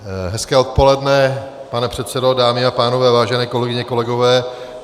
Hezké odpoledne, pane předsedo, dámy a pánové, vážené kolegyně, kolegové.